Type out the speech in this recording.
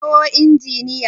a kirawo injiniyan!